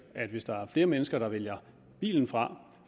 at hvis der er flere mennesker der vælger bilen fra